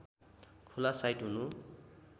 खुला साइट हुनु